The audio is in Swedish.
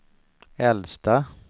äldsta